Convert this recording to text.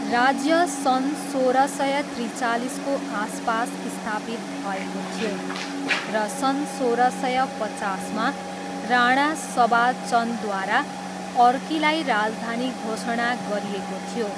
राज्य सन् सोह्र सय त्रिचालिसको आसपास स्थापित भएको थियो र सन् सोह्र सय पचासमा राणा सभा चन्दद्वारा अर्कीलाई राजधानी घोषणा गरिएको थियो।